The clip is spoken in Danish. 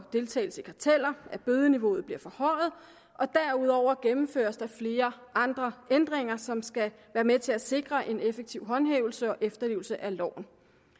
deltage i karteller bødeniveauet bliver forhøjet og derudover gennemføres der flere andre ændringer som skal være med til at sikre en effektiv håndhævelse og efterlevelse af loven